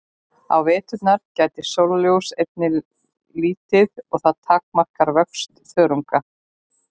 Á veturna gætir sólarljóss einnig lítið og það takmarkar vöxt þörunga.